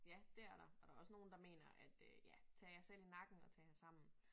Ja det er der og der også nogle der mener at øh ja tag jer selv i nakken og tag jer sammen